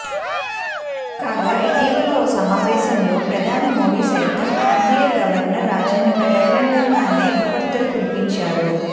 కాగా ఇటీవల ఓ సమావేశంలో ప్రధాని మోడీ సైతం ఆర్బీఐ గవర్నర్ రాజన్పై బహిరంగంగానే పొగడ్తలు కురిపించారు